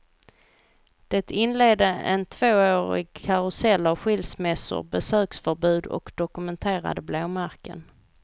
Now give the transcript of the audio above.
Det inledde en tvåårig karusell av skilsmässor, besöksförbud och dokumenterade blåmärken.